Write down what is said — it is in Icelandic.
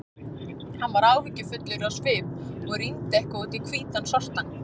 Hann var áhyggjufullur á svip og rýndi eitthvað út í hvítan sortann.